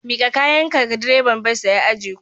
Miƙa kayanka ga direban bas da ya ajiye ku.